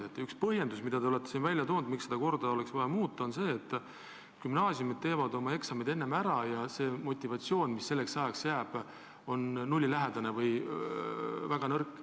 Te olete ühe põhjendusena, miks praegust korda oleks vaja muuta, toonud selle, et gümnaasiumid teevad oma eksamid enne ära ja motivatsioon, mis selleks ajaks jääb, on nullilähedane või väga nõrk.